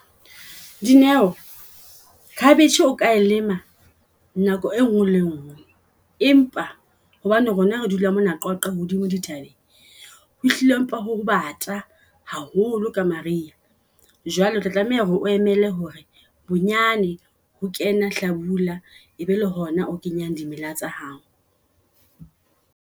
Dineo Khabeshe o ka lema nako e nngwe le e nngwe. Empa hobane rona re dula mona Qwaqwa hodimo Di thabeng ehlile empa ho ba ngata haholo ka maria. Jwale otla tlameha hore o emele hore bonyane ho kena hlabula e be le hona o kenya di mela tsa hao.